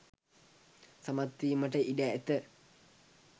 සමත් වීමට ඉඩ ඇත.